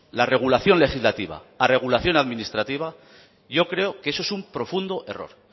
la regulación legislativa a regulación administrativa yo creo que eso es un profundo error